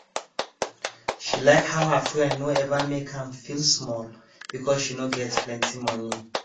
she like how her friend no ever make am feel small because she no get plenty money